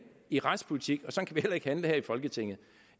i retspolitik og sådan vi heller ikke handle her i folketinget